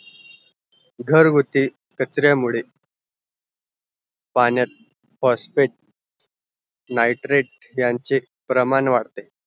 घर गुटी कचऱ्या मुळे पाण्यात phosphatenitrate यांचे प्रमाण वाढते